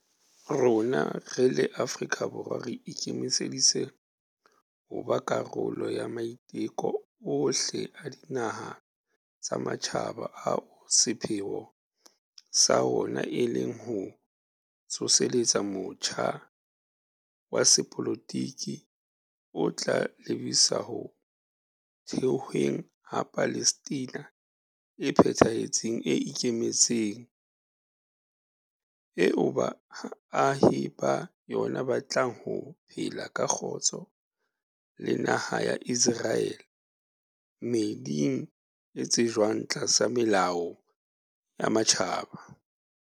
Rona re le Afrika Borwa re ikemiseditse ho ba karolo ya maiteko ohle a dinaha tsa matjhaba ao sepheo sa ona e leng ho tsoseletsa motjha wa sepolotiki o tla lebisa ho thehweng ha Palestina e phethahetseng e ikemetseng, eo baahi ba yona ba tlang ho phela ka kgotso le naha ya Iseraele, meeding e tsejwang tlasa melao ya matjhaba.